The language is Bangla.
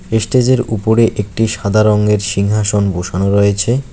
এস্টেজের উপরে একটি সাদা রঙ্গের সিংহাসন বসানো রয়েছে।